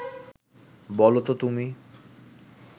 বলো ত তুমি